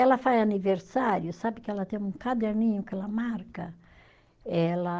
Ela faz aniversário, sabe que ela tem um caderninho que ela marca? Ela